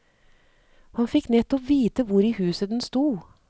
Han fikk nettopp vite hvor i huset den stod.